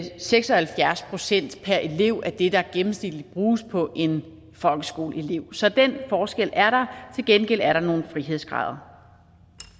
seks og halvfjerds procent per elev af det der gennemsnitligt bruges på en folkeskoleelev så den forskel er der til gengæld er der nogle frihedsgrader